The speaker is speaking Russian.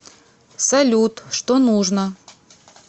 салют что нужно